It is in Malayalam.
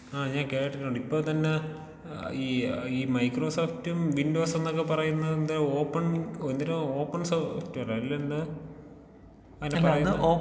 ആഹ് ഞാൻ കേട്ടിട്ടുണ്ട് ഇപ്പൊ തന്നേ ഈ ഈ മൈക്രോസോഫ്റ്റും വിൻഡോസെന്നൊക്കെ പറയുന്ന എന്തോ ഓപ്പൺ എന്തരോ ഓപ്പൺ സോഫ്റ്റ് വെയറോ *നോട്ട്‌ ക്ലിയർ*.